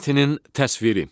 Yer səthinin təsviri.